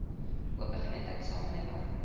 ope geleentheid samelewing